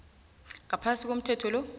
ngaphasi komthetho lo